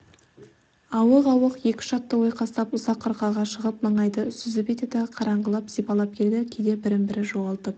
ауық-ауық екі-үш атты ойқастап ұзақ қырқаға шығып маңайды сүзіп етеді қараңғыны сипалап келеді кейде бірін-бірі жоғалтып